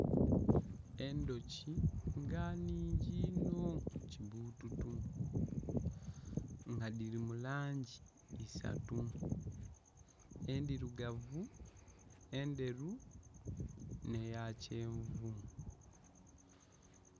Endhoki nga nhingi inho! Kibututu. Nga dhiri mu langi isatu. Endhirugavu, endheru, nh'eya kyenvu .